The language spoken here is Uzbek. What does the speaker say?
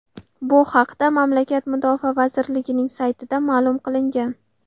Bu haqda mamlakat mudofaa vazirligining saytida ma’lum qilingan .